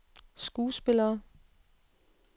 skuespillere